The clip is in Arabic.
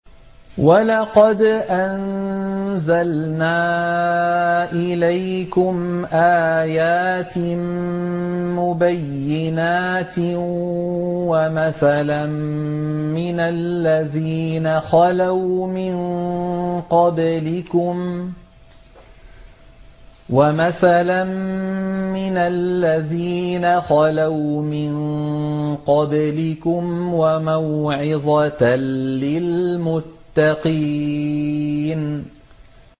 وَلَقَدْ أَنزَلْنَا إِلَيْكُمْ آيَاتٍ مُّبَيِّنَاتٍ وَمَثَلًا مِّنَ الَّذِينَ خَلَوْا مِن قَبْلِكُمْ وَمَوْعِظَةً لِّلْمُتَّقِينَ